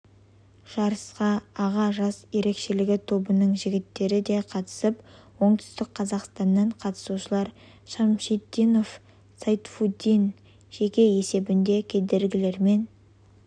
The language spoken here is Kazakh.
жарысқа аға жас ерекшелігі тобының жігіттері де қатысып оңтүстік қазақстаннан қатысушылар шамшитдинов сайфутдин жеке есебінде кедергілерімен